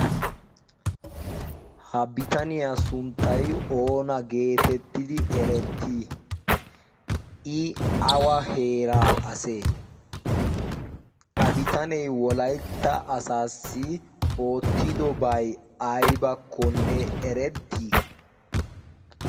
ha bitaniyaa sunttay oona geetettidi erettii i awa heera asee a bitaney wolaytta asaassi oottidobay aybakkonne erettii?